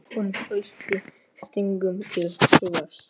Hún fylgdi stígnum til suðurs.